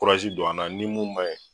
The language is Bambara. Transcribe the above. don an na ni mun man ye